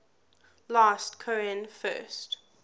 last cohen first